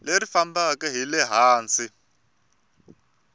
leri fambaka hi le hansi